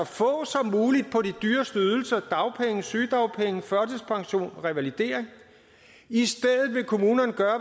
få de dyreste ydelser dagpenge sygedagpenge førtidspension revalidering i stedet vil kommunerne gøre